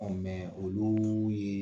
oluu ye